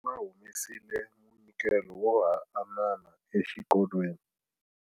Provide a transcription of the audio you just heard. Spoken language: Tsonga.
Va humesile munyikelo wo hanana exikolweni.